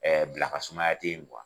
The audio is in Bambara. Ɛɛ bila ka sumaya te yen